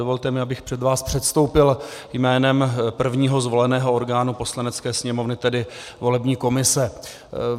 Dovolte mi, abych před vás předstoupil jménem prvního zvoleného orgánu Poslanecké sněmovny, tedy volební komise.